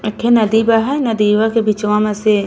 एखे नदी बा हय। नदीवा के बिचवा में से --